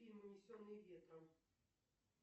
фильм унесенные ветром